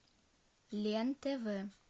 лен тв